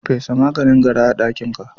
Fesa maganin gara a ɗakinka.